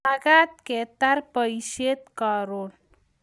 magat ketar boishet karon